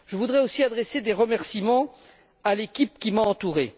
Je voudrais aussi adresser des remerciements à l'équipe qui m'a entouré.